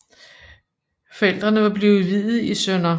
Forældrene var blevet viet i Sdr